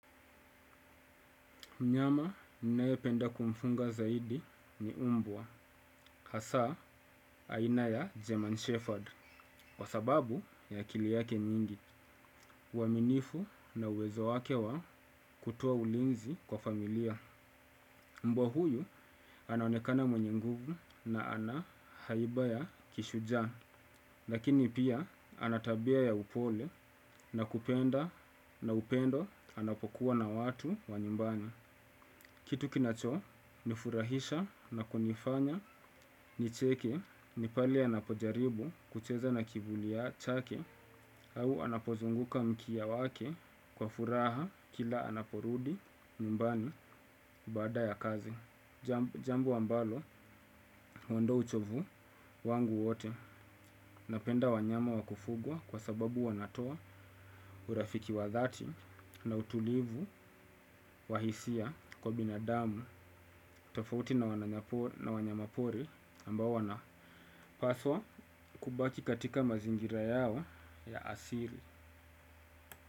Mnyama ni nae penda kumfunga zaidi ni umbwa, hasa aina ya German Shepherd, kwa sababu ya akili yake nyingi. Waminifu na uwezo wake wa kutowa ulinzi kwa familia. Mbwa huyu anaonekana mwenye nguvu na ana haiba ya kishuja, lakini pia anatabia ya upole na kupenda na upendo anapokuwa na watu wa nyumbani. Kitu kinacho ni furahisha na kunifanya nicheke ni pale anapojaribu kucheza na kivuli chake au anapozunguka mkia wake kwa furaha kila anaporudi nyumbani bada ya kazi. Jambo ambalo wandoa uchovu wangu wote napenda wanyama wakufugwa kwa sababu wanatoa urafiki wadhati na utulivu wahisia kwa binadamu tofauti na wanyamapori ambawo wanapaswa kubaki katika mazingira yao ya asiri.